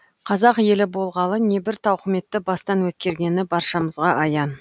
қазақ ел болғалы небір тауқыметті бастан өткергені баршамызға аян